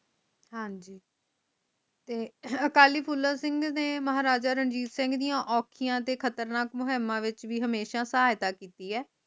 ਹਾਂਜੀ ਤੇ ਅਕਾਲੀ ਫੂਲਾ ਸਿੰਘ ਨੇ ਮਹਾਰਾਜਾ ਰਣਜੀਤ ਸਿੰਘ ਦੀਆ ਓਖਿਆ ਤੇ ਖਤਰਨਾਕ ਮੁਹਮਾ ਵਿਚ ਵੀ ਸਹਾਇਤਾ ਕੀਤੀ ਹੈ